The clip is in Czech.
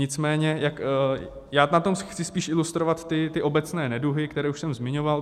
Nicméně já na tom chci spíš ilustrovat ty obecné neduhy, které už jsem zmiňoval.